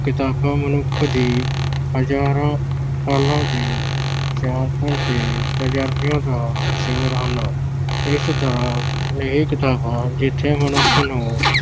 ਕਿਤਾਬਾਂ ਮਨੁੱਖ ਦੀ ਹਜਾਰਾਂ ਸਾਲਾਂ ਦੀ ਸਿਆਣਪ ਤੇ ਤਜਰਬਿਆਂ ਦਾ ਨਿਚੋੜ ਹਨ। ਇਸ ਤਰ੍ਹਾਂ ਇਹ ਕਿਤਾਬਾਂ ਜਿਥੇ ਮਨੁੱਖ ਨੂੰ